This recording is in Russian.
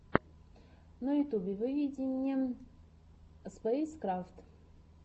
на ютьюбе выведи мне спэйскрафт